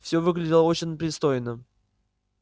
всё выглядело очень пристойно